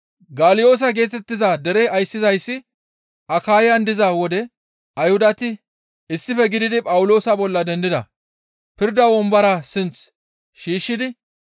Galyoosa geetettiza dere ayssizayssi Akayan diza wode Ayhudati issife gididi Phawuloosa bolla dendida; pirda wombora sinth shiishshidi,